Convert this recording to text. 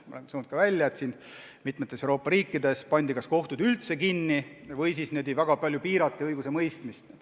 Näiteks on tulnud välja, et mitmes Euroopa riigis pandi kas kohtud üldse kinni või siis väga palju piirati õigusemõistmist.